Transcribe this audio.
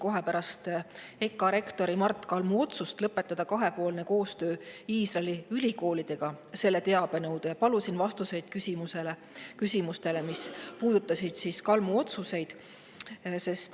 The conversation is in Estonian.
Kohe pärast EKA rektori Mart Kalmu otsust lõpetada kahepoolne koostöö Iisraeli ülikoolidega kirjutasin teabenõude ja palusin vastuseid küsimustele, mis puudutasid Kalmu otsuseid.